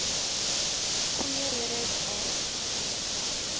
goeie redes waarom